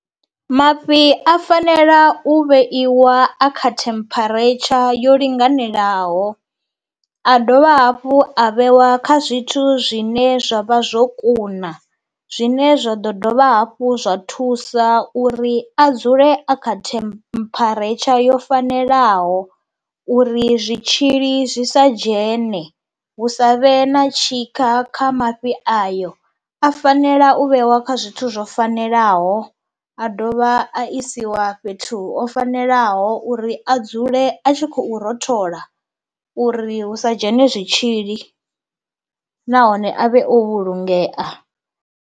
Mafhi a fanela u vheiwa akha temperature yo linganelaho, a dovha hafhu a vheiwa kha zwithu zwine zwa vha zwo kuna zwine zwa ḓo dovha hafhu zwa thusa uri a dzule a kha temperature yo fanelaho. Uri zwitzhili zwi sa dzhene hu sa vhe na tshikha kha mafhi ayo a fanela u vheiwa kha zwithu zwo fanelaho a dovha a isiwa fhethu ho fanelaho uri a dzule a tshi khou rothola uri hu sa dzhene zwitzhili nahone avhe o vhulungeya.